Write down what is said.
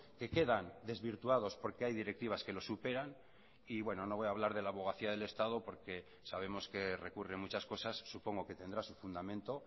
que quedan desvirtuados porque hay directivas que lo superan y bueno no voy a hablar de la abogacía del estado porque sabemos que recurre muchas cosas supongo que tendrá su fundamento